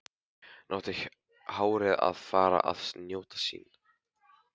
Nú átti hárið að fá að njóta sín.